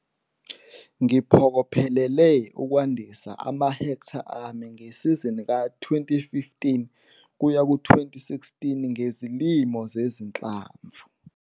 Ngiphokophelele ukwandisa amahektha ami ngesizini ka-2015 - 2016 ngezilimo zezinhlamvu.